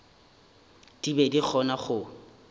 di be di kgona go